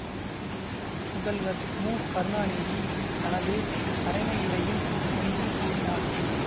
முதல்வர் மு கருணாநிதி தனது தலைமையுரையில் என்று கூறினார்